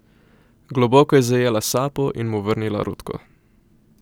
Globoko je zajela sapo in mu vrnila rutko.